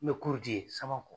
N bɛ di yen Samakɔ.